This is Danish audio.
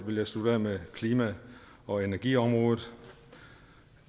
vil jeg slutte af med klima og energiområdet